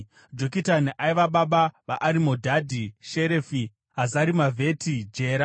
Jokitani aiva baba vaArimodhadhi, Sherefi, Hazarimavheti, Jera,